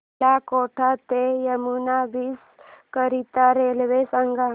मला कोटा ते यमुना ब्रिज करीता रेल्वे सांगा